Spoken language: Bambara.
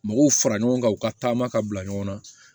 Mɔgɔw fara ɲɔgɔn kan u ka taama ka bila ɲɔgɔn na